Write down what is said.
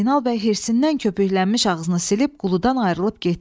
Zeynal bəy hirsindən köpüklənmiş ağzını silib, quludan ayrılıb getdi.